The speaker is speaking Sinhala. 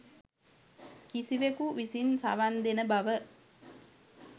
කිසිවෙකු විසින් සවන්දෙන බව